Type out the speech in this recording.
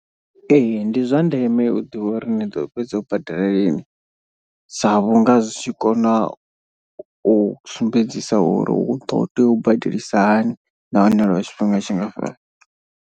Ee ndi zwandeme u ḓivha uri ni ḓo fhedza u badela lini, sa vhunga zwi tshi kona u sumbedzisa uri hu ḓo tea u badelisa hani nahone lwa tshifhinga tshingafhani.